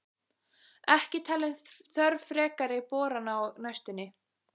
Ekki talin þörf frekari borana á næstunni.